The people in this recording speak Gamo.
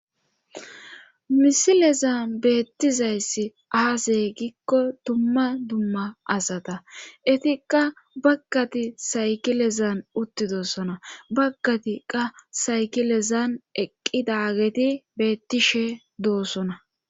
misilezan beettizayssi aaze gikko dumma dumma asata etikka bagkati saykilezan uttidoossona baggati qa saykilezan eqqidageti beettishe doossona